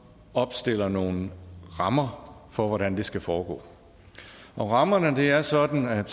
opstiller nogle rammer for hvordan det skal foregå og rammerne er sådan at